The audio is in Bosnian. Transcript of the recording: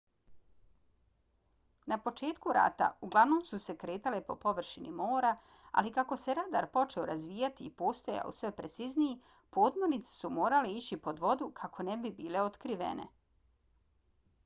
na početku rata uglavnom su se kretale po površini mora ali kako se radar počeo razvijati i postajao sve precizniji podmornice su morale ići pod vodu kako ne bi bile otkrivene